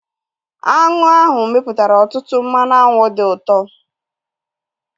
Aṅụ ahu mepụtara ọtụtụ mmanụ aṅụ dị ụtọ